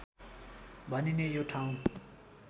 भनिने यो ठाउँ